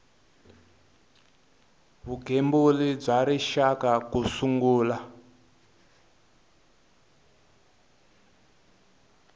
vugembuli bya rixaka ku sungula